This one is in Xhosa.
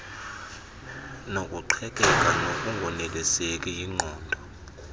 nokuqhekeka nokungoneliseki yingqondo